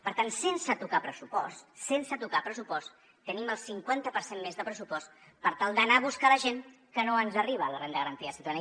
per tant sense tocar pressupost sense tocar pressupost tenim el cinquanta per cent més de pressupost per tal d’anar a buscar la gent que no ens arriba a la renda garantida de ciutadania